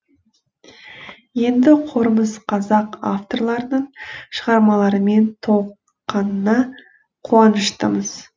енді қорымыз қазақ авторларының шығармаларымен толыққанына қуаныштымыз